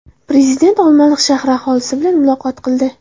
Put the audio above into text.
Prezident Olmaliq shahri aholisi bilan muloqot qildi.